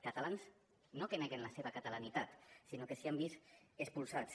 catalans no que neguen la seva catalanitat sinó que se n’han vist expulsats